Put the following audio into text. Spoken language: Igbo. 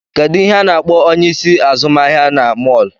Kedụ ihe a na-akpọ onyeisi azụmahịa na mọl?